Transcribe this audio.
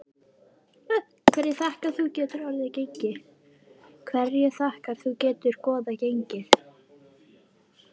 Hverju þakkar þú þetta góða gengi?